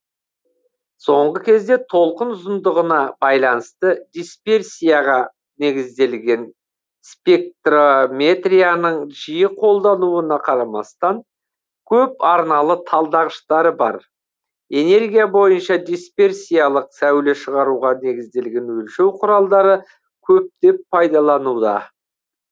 соңғы кезде толқын ұзындығына байланысты дисперсияға негізделген спектрометрияның жиі қолдануына қарамастан көп арналы талдағыштары бар энергия бойынша дисперсиялык сәуле шығаруға негізделген өлшеу құралдары көптеп пайдалануда